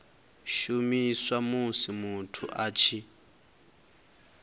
shumiswa musi muthu a tshi